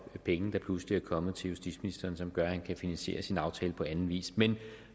penge der pludselig er kommet til justitsministeren og som gør at han kan finansiere sin aftale på anden vis men